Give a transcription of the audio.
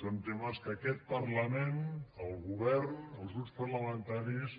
són temes que aquest parlament el govern els grups parlamentaris